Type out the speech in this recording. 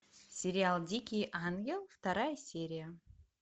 сериал дикий ангел вторая серия